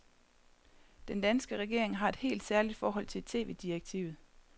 Den danske regering har et helt særligt forhold til tv-direktivet.